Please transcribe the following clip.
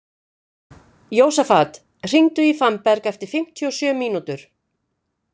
Jósafat, hringdu í Fannberg eftir fimmtíu og sjö mínútur.